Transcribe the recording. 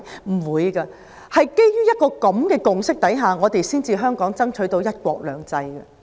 香港是基於這種共識，才爭取到"一國兩制"。